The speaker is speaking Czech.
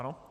Ano.